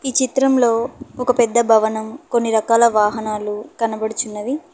ఈ చిత్రంలో ఒక పెద్ద భవనం కొన్ని రకాల వాహనాలు కనబడుచున్నది.